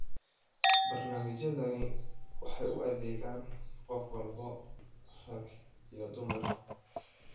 Barnaamijyadani waxay u adeegaan qof walba, rag iyo dumarba.